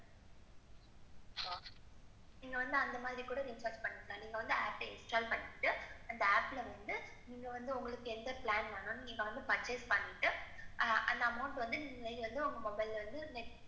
நீங்க வந்து அந்த மாதிரி கூட நீங்க வந்து recharge பன்னிக்கலாம். நீங்க வந்து APP install பண்ணிக்கிட்டு, அந்த APP வந்து, நீங்க வந்து உங்களுக்கு எந்த பிளான் வரணும்னு நீங்க வந்த budget பண்ணிக்கிட்டு, அந்த amount நீங்க வந்து உங்க mobile இருந்து net banking,